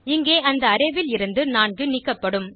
இங்கே அந்த அரே ல் இருந்து 4 நீக்கப்படும்